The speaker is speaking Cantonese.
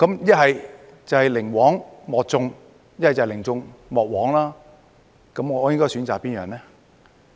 一是寧枉莫縱，一是寧縱莫枉，我應該選擇哪樣呢？